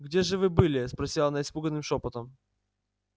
где же вы были спросила она испуганным шёпотом